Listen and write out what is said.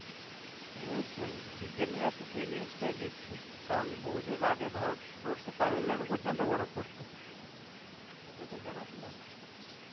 অবশ্যই, বিজ্ঞানীরা তো সেই news তাই দিচ্ছে. কারণ বহু যুগ আগে ভারতবর্ষে তামিলনাডু পর্যন্ত বরফ পড়তো. এটা তোর জানা ছিল?